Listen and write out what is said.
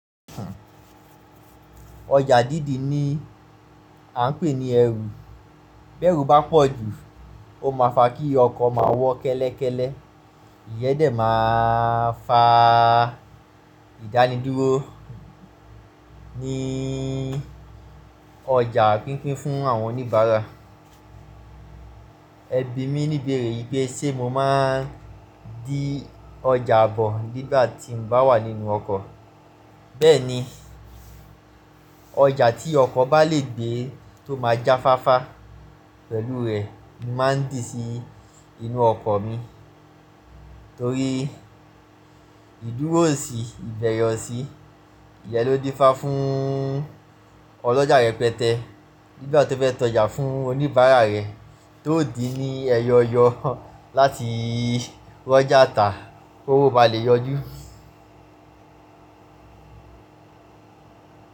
Ọjà dídi ni a ń pè ní ẹrù. Bẹ́rù bá pọ̀ jù ó máa fa kí ọkọ̀ máa wọ́ kẹ́lẹ́kẹ́lẹ́, ìyẹ́ n dẹ̀ máa fa ìdánidúró ní ọjà pínpín fún àwọn oníbàárà. Ẹbí mi níbèrè pé ṣé mo máa ń dí ọjà àbọ̀ nígbà tí mo bá wà nínú ọkọ̀. Bẹ́ẹ̀ni, ọjà tí ọkọ̀ bá le gbé tó máa jáfáfá pẹ̀lú rẹ̀ ni mo màá ń dìí sí inú ọkọ̀ mi, torí ìdúró ko sí ìbẹ̀rẹ̀ ọ̀sì, ìyẹ́n ló dífá fún ọlọ́jà rẹpẹtẹ nígbà tó fẹ́ ta ọjà fún oníbàárà rẹ̀ ti ó dìí ní ẹyọ eyọ láti ri ọjà tà kí owó bá lè yọjú.